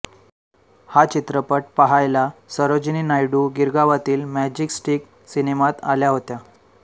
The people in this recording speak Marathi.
हा चित्रपट पहायला सरोजिनी नायडू गिरगावातील मॅजेस्टिक सिनेमात आल्या होत्या